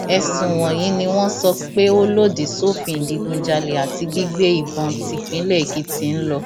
ẹsùn wọnyí ni wọn sọ pé ó lòdì sófin ìdígunjalè àti gbígbé ìbọn típínlẹ èkìtì ń lọ